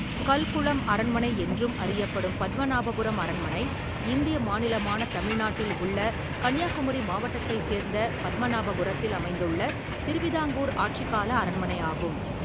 கல்குளம் அரண்மனை என்றும் அறியப்படும் பத்மநாபபுரம் அரண்மனை இந்திய மாநிலமான தமிழ்நாட்டில் உள்ள கன்னியாகுமரி மாவட்டத்தைச் சேர்ந்த பத்மநாபபுரத்தில் அமைந்துள்ள திருவிதாங்கூர் ஆட்சிகால அரண்மனையாகும்.